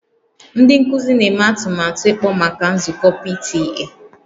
Ndị nkuzi na-eme atụmatụ ịkpọ maka nzukọ PTA